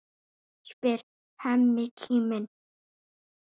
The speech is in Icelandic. spyr Hemmi kíminn.